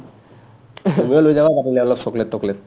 তুমি লৈ যাও অলপ চকলেট টকলেট